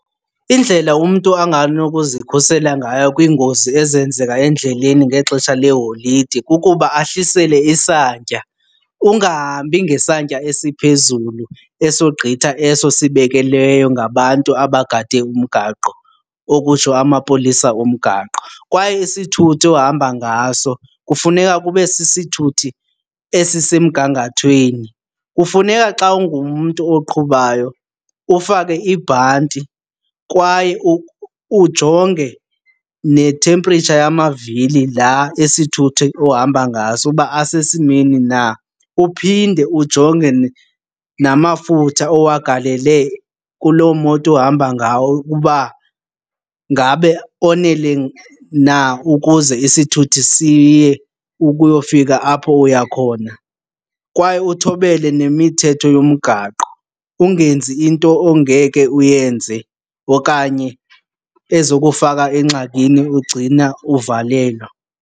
Indlela umntu anganokuzikhusela ngayo kwiingozi ezenzeka endleleni ngexesha leeholide kukuba ahlisele isantya, ungahambi ngesantya esiphezulu esogqitha eso sibekelweyo ngabantu abagade umgaqo, okutsho amapolisa omgaqo. Kwaye isithuthi ohamba ngaso kufuneka kube sisithuthi esisemgangathweni. Kufuneka xa ungumntu oqhubayo ufake ibhanti kwaye ujonge ne-temperature yamavili laa esithuthi ohamba ngaso uba asesimeni na uphinde ujonge namafutha owagalele kuloo moto uhamba ngawo ukuba ngabe onele na ukuze isithuthi siye ukuyofika apho uya khona. Kwaye uthobele nemithetho yomgaqo, ungenzi into ongeke uyenze okanye ezokufaka engxakini ugcina uvalelwa.